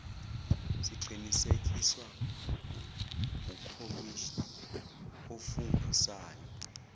siqinisekiswa ukhomishnni ofungusayo